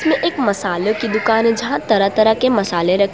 एक मसालो की दुकान जहां तरह तरह के मसले रख --